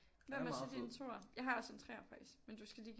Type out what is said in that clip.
Hvad med så din 2'er jeg har også en 3'er faktisk men du skal lige give